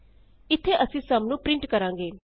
ਇਥੇ ਅਸੀਂ ਸੁਮ ਨੂੰ ਪਰਿੰਟ ਕਰਾਂਗੇ